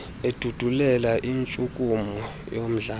edudulela intshukumo yomdlalo